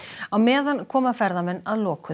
á meðan koma ferðamenn að lokuðum